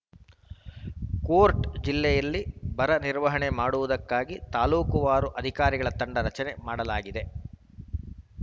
court ಜಿಲ್ಲೆಯಲ್ಲಿ ಬರ ನಿರ್ವಹಣೆ ಮಾಡುವುದಕ್ಕಾಗಿ ತಾಲೂಕುವಾರು ಅಧಿಕಾರಿಗಳ ತಂಡ ರಚನೆ ಮಾಡಲಾಗಿದೆ